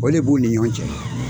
O de b'u ni ɲɔgɔn cɛ.